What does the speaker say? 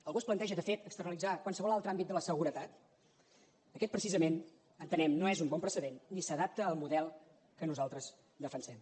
algú es planteja de fet externalitzar qualsevol altre àmbit de la seguretat aquest precisament entenem no és un bon precedent ni s’adapta al model que nosaltres defensem